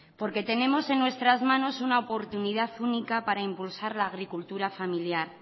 porque tenemos en nuestras manos una oportunidad única para impulsar la agricultura familiar